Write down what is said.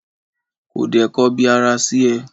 ko de kọbi ara sí e?